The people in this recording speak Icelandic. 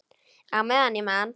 Á meðan ég man.